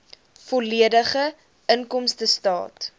volledige inkomstestaat